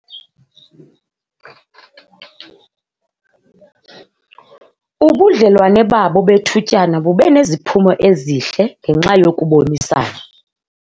Ubudlelwane babo bethutyana bube neziphumo ezihle ngenxa yokubonisana.